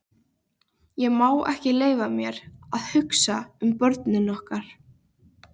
Ég má ekki leyfa mér að hugsa um börnin okkar.